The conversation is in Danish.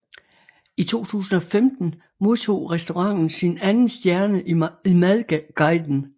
I 2015 modtog restauranten sin anden stjerne i madguiden